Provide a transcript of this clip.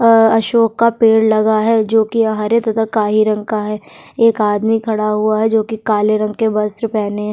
अ अशोक का पेड़ लगा है जो कि हरे तथा काही रंग का है एक आदमी खड़ा हुआ है जो कि काले रंग के वस्त्र पहने --